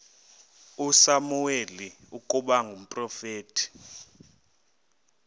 usamuweli ukuba ngumprofeti